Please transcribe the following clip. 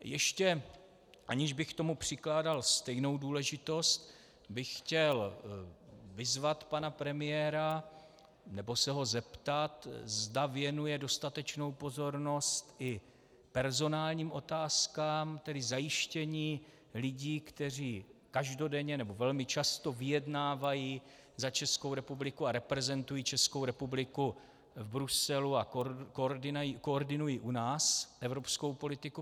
Ještě, aniž bych tomu přikládal stejnou důležitost, bych chtěl vyzvat pana premiéra, nebo se ho zeptat, zda věnuje dostatečnou pozornost i personálním otázkám, tedy zajištění lidí, kteří každodenně, nebo velmi často vyjednávají za Českou republiku a reprezentují Českou republiku v Bruselu a koordinují u nás evropskou politiku.